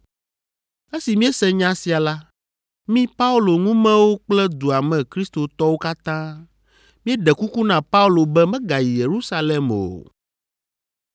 Esi míese nya sia la, mí Paulo ŋumewo kple dua me kristotɔwo katã míeɖe kuku na Paulo be megayi Yerusalem o.